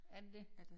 Er det det?